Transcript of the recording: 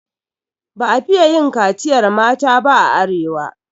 Ba a fiye yin kaciyar mata ba a arewa.